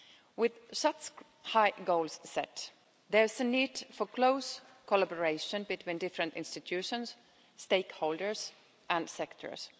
With such high goals set, there is a need for close collaboration between different institutions, stakeholders and sectors.